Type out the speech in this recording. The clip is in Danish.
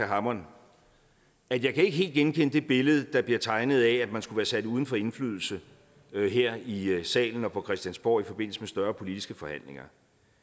hammond at jeg ikke helt kan genkende det billede der bliver tegnet af at man skulle være sat uden for indflydelse her i salen og på christiansborg i forbindelse med større politiske forhandlinger